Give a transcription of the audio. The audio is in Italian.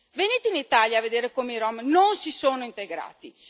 Venite in Italia a vedere come i rom non si sono integrati.